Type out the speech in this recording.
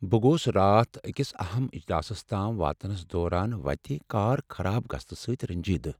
بہٕ گوس راتھ أکس اہم اجلاسس تام واتنس دوران وتہِ كار خراب گژھنہٕ سٕتۍ رنجیدٕہ ۔